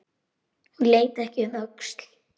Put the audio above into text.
Hún leit ekki um öxl.